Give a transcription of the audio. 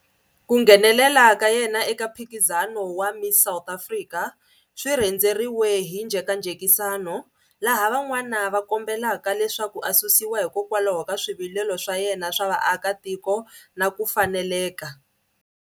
Ku nghenelela ka yena eka mphikizano wa Miss South Africa swi rhendzeriwe hi njhekanjhekisano, laha van'wana va kombelaka leswaku a susiwa hikwalaho ka swivilelo swa yena swa vaakatiko na ku faneleka.